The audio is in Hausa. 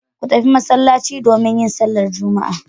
Ku tafi masallaci domin yin sallar Juma'a.